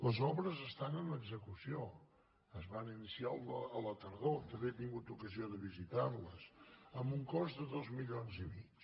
les obres estan en execució es van iniciar a la tardor també he tingut ocasió de visitar les amb un cost de dos milions i mig